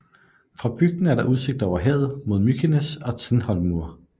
Fra bygden er der udsigt over havet mod Mykines og Tindhólmur